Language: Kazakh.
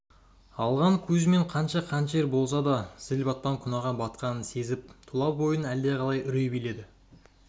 алған кузьмин қанша қанішер болса да зіл-батпан күнәға батқанын сезіп тұла бойын әлдеқалай үрей билеп